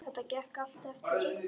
Þetta gekk allt eftir.